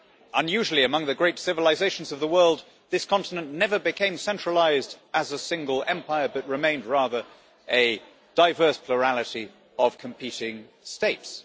Unusually among the great civilisations of the world, this continent never became centralised as a single empire, but remained rather a diverse plurality of competing states.